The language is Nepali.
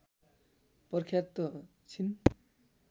प्रख्यात छिन्